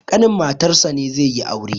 ƙanin matarsa ne zai yi aure